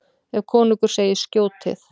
Ef konungur segir: Skjótið!